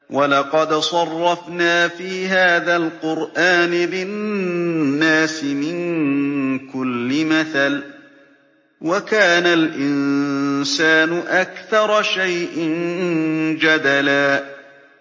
وَلَقَدْ صَرَّفْنَا فِي هَٰذَا الْقُرْآنِ لِلنَّاسِ مِن كُلِّ مَثَلٍ ۚ وَكَانَ الْإِنسَانُ أَكْثَرَ شَيْءٍ جَدَلًا